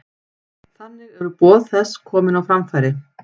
Þannig eru boð þess komin á framfæri.